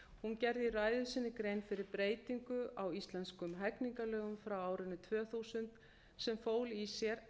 hún gerði í ræðu sinni grein fyrir breytingu á íslenskum hegningarlögum frá árinu tvö þúsund sem fól í sér